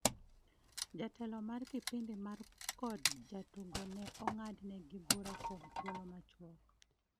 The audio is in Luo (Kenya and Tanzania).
jatelo mar kipindi mar kod jatugo ne ong'ad ne gi bura kuom thuolo machuok